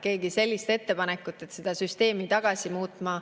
Keegi ei ole teinud ettepanekut seda süsteemi tagasi muuta.